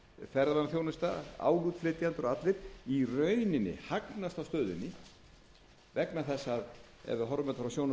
ferðaþjónusta álútflytjendur og allir í rauninni hagnast á stöðunni vegna þess að ef við horfum á þetta frá sjónarhorni erlendrar myntar hefur ekkert